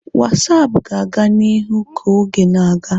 WhatsApp ga-aga n'ihu ka oge na-aga.